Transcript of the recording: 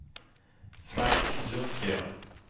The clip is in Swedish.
Frank Lundgren